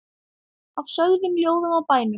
Af sögum, ljóðum og bænum.